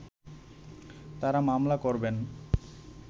তারা মামলা করবেন